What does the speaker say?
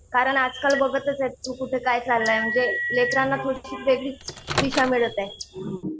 कारण आजकाल बघतच आहे तू कुठं काय चाललंय. म्हणजे लेकरांना थोडीशी वेगळीच दिशा मिळत आहे.